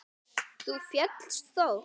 Þú féllst þó?